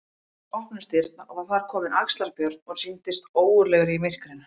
Loks opnuðust dyrnar og var þar kominn Axlar-Björn og sýndist ógurlegur í myrkrinu.